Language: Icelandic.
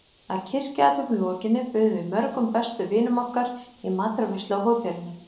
Að kirkjuathöfn lokinni buðum við mörgum bestu vinum okkar í matarveislu á hótelinu.